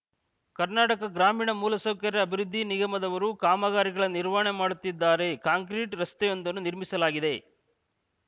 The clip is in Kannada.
ಕರ್ನಾಟಕ ಗ್ರಾಮೀಣ ಮೂಲ ಸೌಕರ್ಯ ಅಭಿವೃದ್ಧಿ ನಿಗಮದವರು ಕಾಮಗಾರಿಗಳ ನಿರ್ವಹಣೆ ಮಾಡುತ್ತಿದ್ದಾರೆ ಕಾಂಕ್ರೀಟ್‌ ರಸ್ತೆಯೊಂದನ್ನು ನಿರ್ಮಿಸಲಾಗಿದೆ